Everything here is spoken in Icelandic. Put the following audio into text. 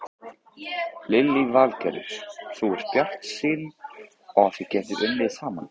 Lillý Valgerður: Þú ert bjartsýnn á þið getið unnið saman?